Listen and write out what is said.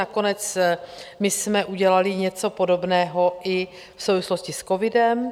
Nakonec my jsme udělali něco podobného i v souvislosti s covidem.